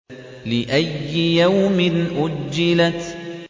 لِأَيِّ يَوْمٍ أُجِّلَتْ